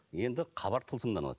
енді хабар тылсымнан алады